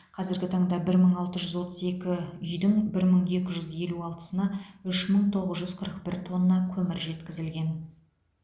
қазіргі таңда бір мың алты жүз отыз екі үйдің бір мың екі жүз елу алтысына үш мың тоғыз жүз қырық бір тонна көмір жеткізілген